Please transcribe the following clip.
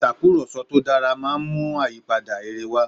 ìtakùròsọ tó dára máa mú àyípadà rere wá